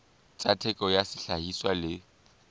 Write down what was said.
tsa theko ya sehlahiswa le